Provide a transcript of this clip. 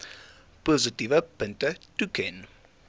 positiewe punte toeken